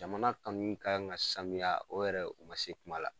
Jamana kanu kan ka sanuya , o yɛrɛ, o ma se kuma la.